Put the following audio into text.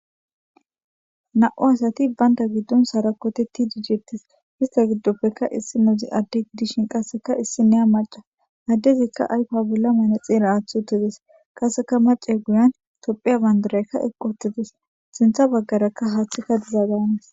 Na77u asati banta giddon sarokotetidi detes isita gidoppeka issinozi adde gidishin qaseka issiniya macca. addezika ayfa bolla manaxire aaththi uttides. qaseka maccay guyan topiya bandirayka eqi wuttides.sinththa bagaraka haaththayka diza danes.